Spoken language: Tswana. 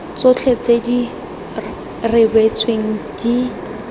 tsotlhe tse di rebotsweng di